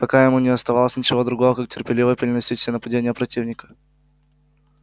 пока ему не оставалось ничего другого как терпеливо переносить все нападения противника